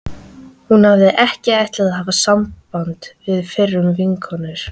Hún hafði ekki ætlað að hafa samband við fyrrum vinkonur